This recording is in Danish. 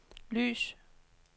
lys